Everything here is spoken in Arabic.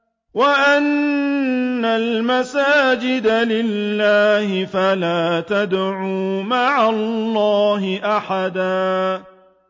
وَأَنَّ الْمَسَاجِدَ لِلَّهِ فَلَا تَدْعُوا مَعَ اللَّهِ أَحَدًا